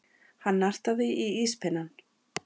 Hann nartaði í íspinnann.